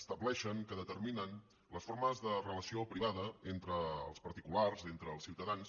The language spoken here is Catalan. estableixen que determinen les formes de relació privada entre els particulars entre els ciutadans